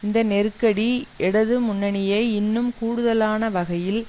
இந்த நெருக்கடி இடது முன்னணியை இன்னும் கூடுதலான வகையில்